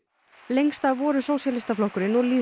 lengst af voru Sósíalistaflokkurinn og